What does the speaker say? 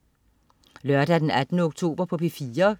Lørdag den 18. oktober - P4: